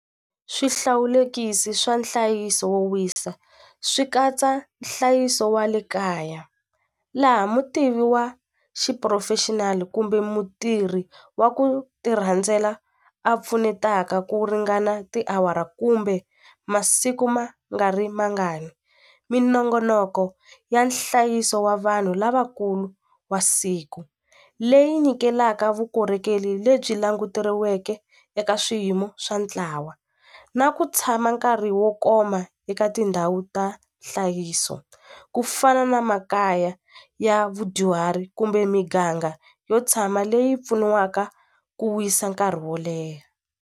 Swihlawulekisi swa nhlayiso wo wisa swi katsa nhlayiso wa le kaya laha mutivi wa xiphurofexinali kumbe mutirhi wa ku ti rhandzela a pfunetaka ku ringana tiawara kumbe masiku ma nga ri mangani minongonoko ya nhlayiso wa vanhu lavakulu wa siku leyi nyikelaka vukorhokeri lebyi languteriweke eka swiyimo swa ntlawa na ku tshama nkarhi wo koma eka tindhawu ta nhlayiso ku fana na makaya ya vudyuhari kumbe miganga yo tshama leyi pfuniwaka ku wisa nkarhi wo leha.